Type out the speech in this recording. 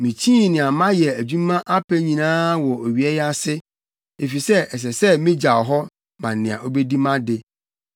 Mikyii nea mayɛ adwuma apɛ nyinaa wɔ owia yi ase, efisɛ ɛsɛ sɛ migyaw hɔ ma nea obedi mʼade.